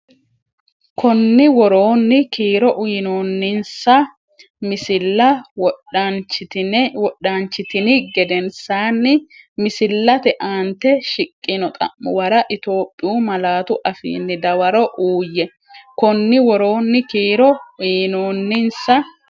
Konni woroonni kiiro uyinoonninsa misilla wodanchitini gedensaan- misillate aante shiqqino xa’muwara Itophiyu malaatu afiinni dawaro uuyye Konni woroonni kiiro uyinoonninsa.